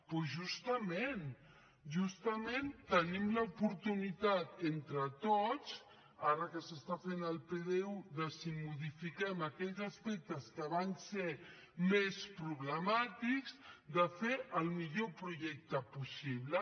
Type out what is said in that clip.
doncs justament justament tenim l’oportunitat entre tots ara que s’està fent el pdu si modifiquem aquells aspectes que van ser més problemàtics de fer el millor projecte possible